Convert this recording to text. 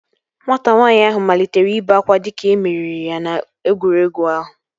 Nwata nwaanyị ahụ malitere ibe akwa dịka e meriri ya n'egwuregwu ahụ